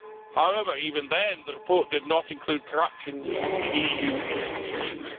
However, even then, the report did not include corruption in EU institutions.